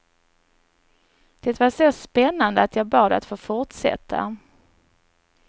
Det var så spännande att jag bad att få fortsätta.